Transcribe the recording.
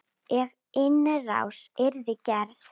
Ef innrás yrði gerð?